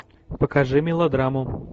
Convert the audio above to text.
покажи мелодраму